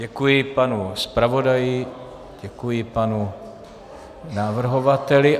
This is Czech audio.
Děkuji panu zpravodaji, děkuji panu navrhovateli.